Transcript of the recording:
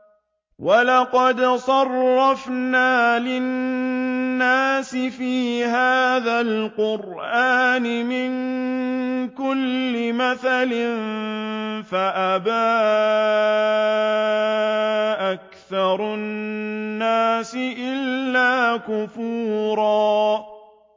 وَلَقَدْ صَرَّفْنَا لِلنَّاسِ فِي هَٰذَا الْقُرْآنِ مِن كُلِّ مَثَلٍ فَأَبَىٰ أَكْثَرُ النَّاسِ إِلَّا كُفُورًا